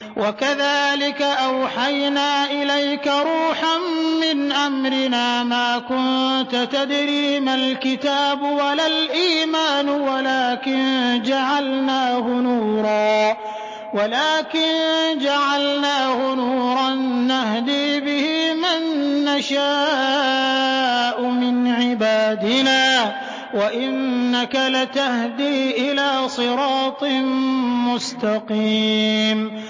وَكَذَٰلِكَ أَوْحَيْنَا إِلَيْكَ رُوحًا مِّنْ أَمْرِنَا ۚ مَا كُنتَ تَدْرِي مَا الْكِتَابُ وَلَا الْإِيمَانُ وَلَٰكِن جَعَلْنَاهُ نُورًا نَّهْدِي بِهِ مَن نَّشَاءُ مِنْ عِبَادِنَا ۚ وَإِنَّكَ لَتَهْدِي إِلَىٰ صِرَاطٍ مُّسْتَقِيمٍ